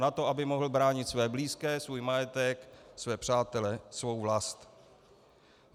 Na to, aby mohl bránit své blízké, svůj majetek, své přátele, svou vlast.